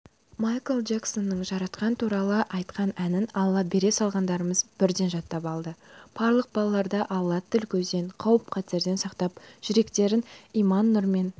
майкл джексонның жаратқан туралы айтқан әнін алла бере салғандарымыз бірден жаттап алды барлық балаларды алла тіл-көзден қауіп-қатерден сақтап жүректерін иман нұрымен